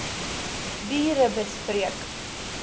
burebespreek